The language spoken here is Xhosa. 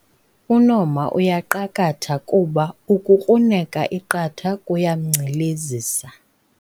UNomha uyaqakatha kuba ukukruneka iqatha kuyamngcilezisa